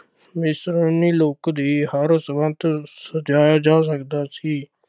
look ਦੀ ਹਰ ਸਜਾਇਆ ਜਾ ਸਕਦਾ ਸੀ।